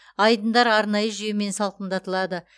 айдындар арнайы жүйемен салқындатылады